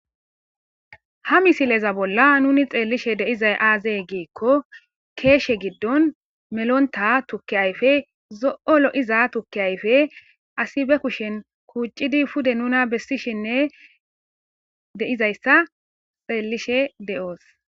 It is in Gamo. ha misileza bolla nuni xeelishe de'izay aazey giikko keeshe giddon melonta tukki ayfe zo'o lo'iza tukki ayfe asi be kushen kuuccidi pude nuna bessishinne de'izayssa xeellishe de'oos